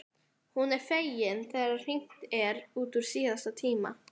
Hún er fegin þegar hringt er út úr síðasta tíma.